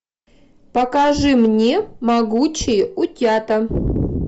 покажи мне могучие утята